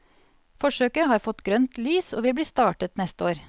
Forsøket har fått grønt lys og vil bli startet neste år.